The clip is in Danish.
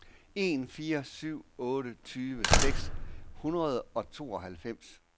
en fire syv otte tyve seks hundrede og tooghalvfems